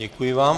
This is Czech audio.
Děkuji vám.